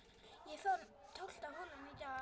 Tólfta holan í dag